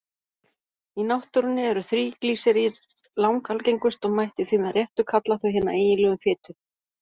Í náttúrunni eru þríglýseríð langalgengust og mætti því með réttu kalla þau hina eiginlegu fitu.